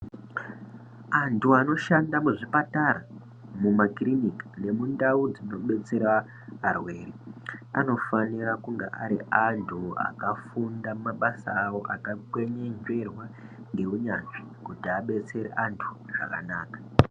Antu anoshanda muzvipatara, mumakirinika nemundau dzinodetsera arwere, anofanira kunge ari antu akafunda mabasa avo , akakwenyenzverwa newunyanzvi, kuti abetsere antu zvakanaka.